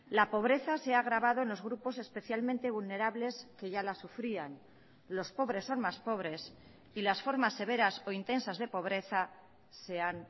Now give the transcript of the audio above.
la pobreza se ha agravado en los grupos especialmente vulnerables que ya la sufrían los pobres son más pobres y las formas severas o intensas de pobreza se han